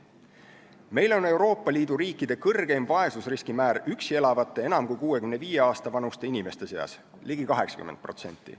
Meil on Euroopa Liidu riikide kõrgeim vaesusriskimäär üksi elavate enam kui 65-aasta vanuste inimeste seas, ligi 80%.